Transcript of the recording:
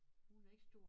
Hun er ikke stor